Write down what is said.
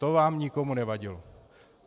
To vám nikomu nevadilo.